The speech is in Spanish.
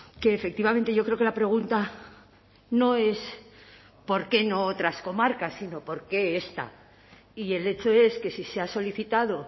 que efectivamente yo creo que la pregunta no es por qué no otras comarcas sino por qué esta y el hecho es que si se ha solicitado